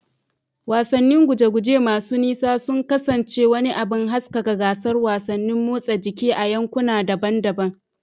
Wasannin guje-guje masu nisa sun kasance wani abin haskaka gasar wasannin motsa jiki a yankuna daban-daban.